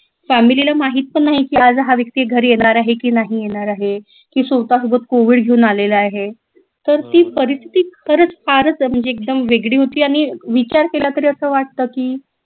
family ला माहित पण नाही की आज हा व्यक्ती घरी येणार आहे की नाही येणार आहे की स्वतः सोबत covid घेऊन आलेला आहे तर ती परिस्थिती खरच फारच म्हणजे एकदम वेगळी होती आणि विचार केला तरी असं वाटत की